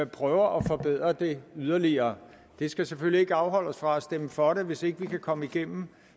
prøver at forbedre det yderligere det skal selvfølgelig ikke afholde os fra at stemme for det hvis ikke vi kan komme igennem